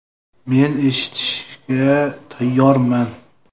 Men eshitishga tayyorman.